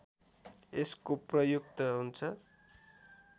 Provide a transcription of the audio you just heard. यसको प्रयुक्त हुन्छ